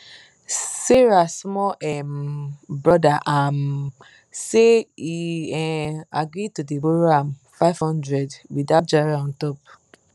sarah small um brother um say he um agree to dey borrow ahm five hundred without jara on top